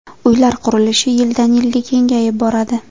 Uylar qurilishi yildan-yilga kengayib boradi.